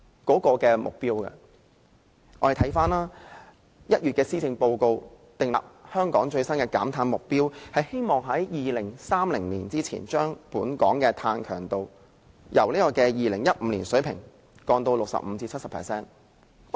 今年1月的施政報告訂立了香港最新的減碳目標，希望將香港2030年的碳強度從2005年的水平減低 65% 至 70%。